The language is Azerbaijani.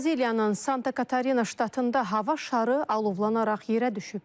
Braziliyanın Santa Katarina ştatında hava şarı alovlanaraq yerə düşüb.